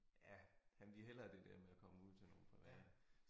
Ja han ville hellere det der med at komme ud til nogle private